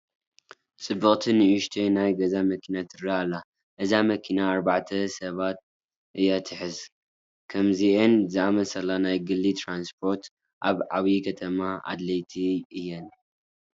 ፅብቕቲ ንኡሽተይ ናይ ገዛ መኪና ትርአ ኣላ፡፡ እዛ መኪና ኣርባዕተ ሰባት እያ ትሕዝ፡፡ ከምዚአን ዝኣምሰላ ናይ ግሊ ትራንስፖርት ኣብ ዓብዪ ከተማ ኣድለይቲ እየን፡፡